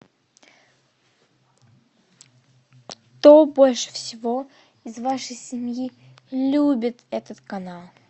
кто больше всего из вашей семьи любит этот канал